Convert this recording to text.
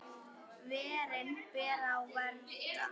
Verin beri að vernda.